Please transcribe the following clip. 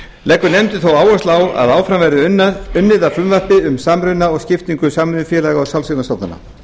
leggur nefndin þó áherslu á að áfram verði unnið að frumvarpi um samruna og skiptingu samvinnufélaga og sjálfseignarstofnana